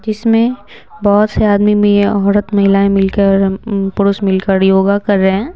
जिसमें बहुत से आदमी में औरत महिलाएं मिलकर पुरुष मिलकर योगा कर रहे हैं।